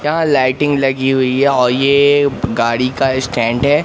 यहां लाइटिंग लगी हुई है और ये गाड़ी का स्टैंड हैं।